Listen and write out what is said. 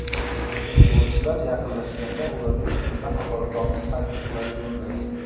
Futbolchilar yaqinlashganda ularga nisbatan haqoratomuz hayqiriqlarni yo‘lladi.